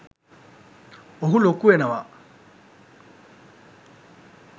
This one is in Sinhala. ඔහු ලොකු වෙනවා